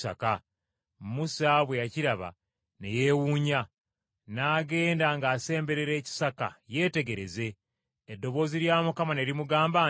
Musa bwe yakiraba ne yeewuunya. N’agenda ng’asemberera ekisaka yeetegereze, eddoboozi lya Mukama ne limugamba nti,